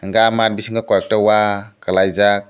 aah mat bisingo koi ekta wa kalai jak.